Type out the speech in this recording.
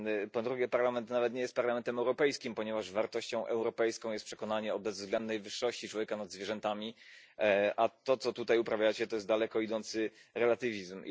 Po drugie Parlament nawet nie jest Parlamentem Europejskim, ponieważ wartością europejską jest przekonanie o bezwzględnej wyższości człowieka nad zwierzętami, a to co tutaj uprawiacie to jest daleko idący relatywizm.